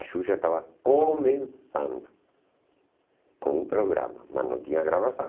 A Xuxa estava começando com o programa, mas não tinha gravação.